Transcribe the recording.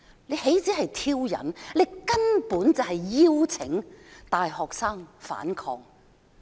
這豈止是挑釁，根本是邀請大學生反抗。